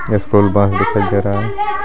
ये school bus दिखाई दे रहा है.